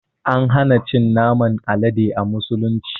An hana cin naman Alade a musulunci.